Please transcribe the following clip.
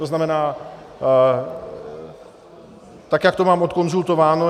To znamená, tak jak to mám odkonzultováno.